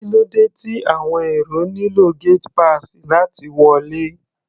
Kí ló dé tí àwọn èrò nílò gate pass láti wọlé?